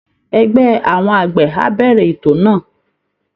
Ẹgbẹ́ àwọn àgbẹ̀ á bẹ̀rẹ̀ ètò náà